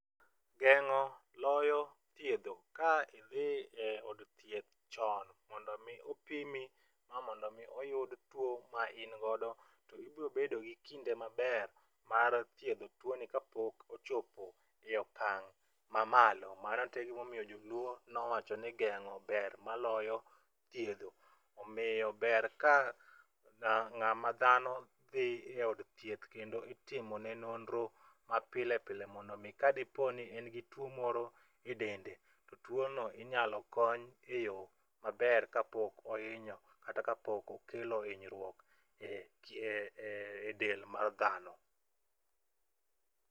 Geng'o loyo thiedho. Ka idhi e od thieth chon mondo omi opimi ma mondo omi oyud tuo ma in godo to ibrobedo gi kinde maber mar thiedho tuoni kapok ochopo i okang' mamalo mano to e gimomiyo joluo nowacho ni geng'o ber maloyo thiedho, omiyo ber ka ng'ama dhano dhi e od thieth kendo itimone nonro mapile pile mondo omi ka diponi en gi tuo moro e dende to tuono inyalo kony e yo maber kapok ohinyo kata kapok okelo hinyruok e del mar dhano.